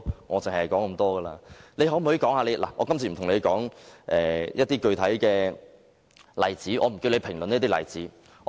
我今次不打算與局長討論一些具體例子，我不會要求他評論個別例子。